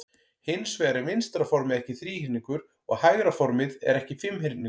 Hins vegar er vinstra formið ekki þríhyrningur og hægra formið er ekki fimmhyrningur.